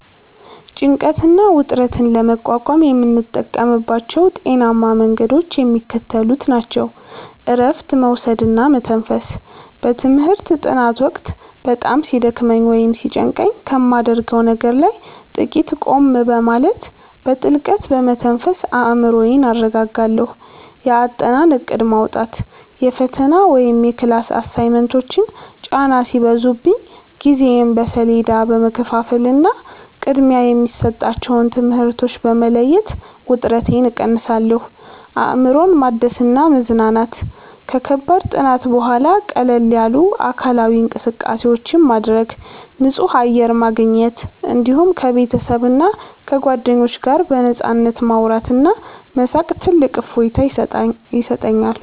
ጭንቀትና ውጥረትን ለመቋቋም የምጠቀምባቸው ጤናማ መንገዶች የሚከተሉት ናቸው፦ እረፍት መውሰድና መተንፈስ፦ በትምህርት ጥናት ወቅት በጣም ሲደክመኝ ወይም ሲጨንቀኝ ከማደርገው ነገር ላይ ጥቂት ቆም በማለት፣ በጥልቀት በመተንፈስ አእምሮዬን አረጋጋለሁ። የአጠናን እቅድ ማውጣት፦ የፈተና ወይም የክላስ አሳይመንቶች ጫና ሲበዙብኝ ጊዜዬን በሰሌዳ በመከፋፈልና ቅድሚያ የሚሰጣቸውን ትምህርቶች በመለየት ውጥረቴን እቀንሳለሁ። አእምሮን ማደስና መዝናናት፦ ከከባድ ጥናት በኋላ ቀለል ያሉ አካላዊ እንቅስቃሴዎችን ማድረግ፣ ንጹህ አየር ማግኘት፣ እንዲሁም ከቤተሰብና ከጓደኞች ጋር በነፃነት ማውራትና መሳቅ ትልቅ እፎይታ ይሰጠኛል።